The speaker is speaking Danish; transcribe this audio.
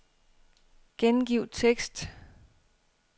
Gengiv tekst.